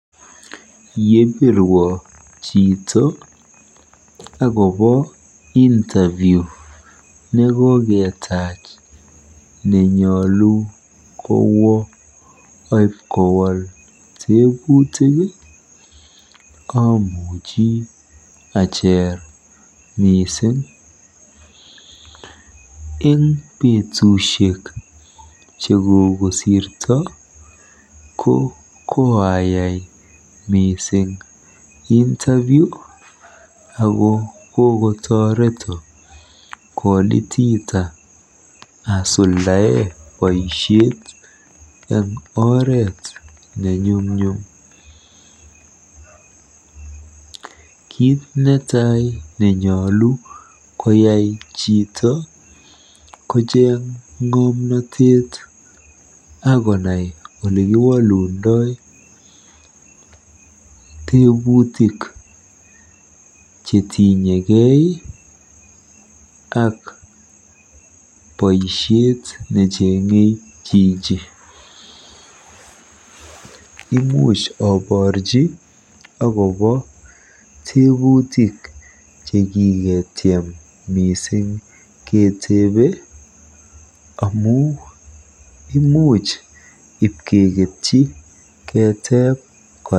Yebirwo chito akobo interview nwkoketaach nenyolu kowo aipkowol tepuutik amuchi ajeer miising. Eng petusiek chekokosirto, ko koayai mising Interview ako kokotoreto kolitiita asuldae boisiet eng oret nenyumnyum. Kiit netai nenyolu koyaii chito kocheng ng'omnatet akocheng olekiwolundoi teputik chetinyekei ak poisiet necheng'e jiji. Imuj aborji akobo teebutik chekikecham mising keteebe amu imuch ipkeketchi keteeb kora.